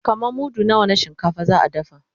kaman mudu nawa na shinkafa za'a dafa?